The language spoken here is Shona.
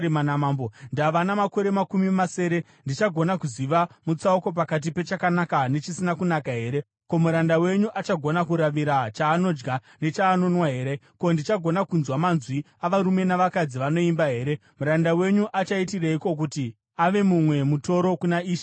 Ndava namakore makumi masere. Ndichagona kuziva mutsauko pakati pechakanaka nechisina kunaka here? Ko, muranda wenyu achagona kuravira chaanodya nechaanonwa here? Ko, ndichagona kunzwa manzwi avarume navakadzi vanoimba here? Muranda wenyu achaitireiko kuti ave mumwe mutoro kuna ishe wangu mambo?